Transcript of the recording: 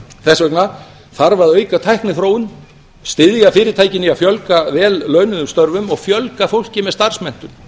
þess vegna þarf að auka tækniþróun styðja fyrirtækin í að fjölga vel launuðum störfum og fjölga fólki með starfsmenntun